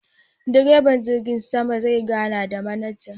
direban jirgin sama zai gana da manaja.